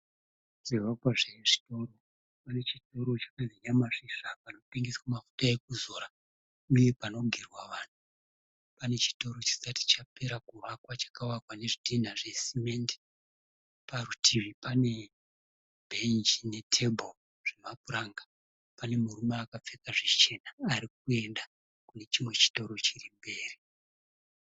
Chivakwa chitema chikuru chakanyorwa kuti Nyamasvisva. Pane panotengeswa mafuta ekuzora uye panogerwa vanhu. Chitoro chisati chapera kuvakwa chakavakwa nezvidhinha zvesamende, parutivi pane bhenji netafura zvemapuranga. Pane murume akapfeka zvichena arikuenda kune chimwe chitoro chirimberi.